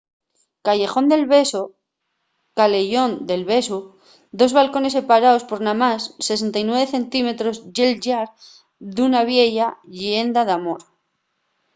callejon del beso caleyón del besu. dos balcones separaos por namás 69 centímetros ye’l llar d’una vieya lleenda d’amor